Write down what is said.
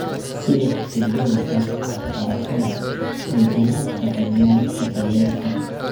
Sida cutubyada is-wax-u-barashada ay ula shaqeeyaan cutubyada CoL.